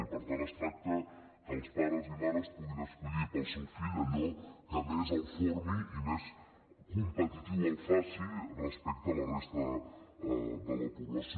i per tant es tracta que els pares i mares puguin escollir per al seu fill allò que més el formi i més competitiu el faci respecte a la resta de la població